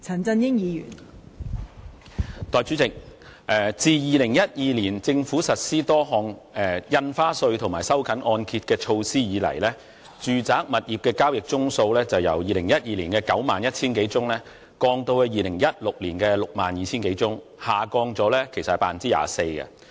代理主席，自2012年政府開徵多項印花稅及實施收緊按揭的措施後，住宅物業的交易宗數由2012年的91000多宗，下降至2016年的62000多宗，跌幅為 24%。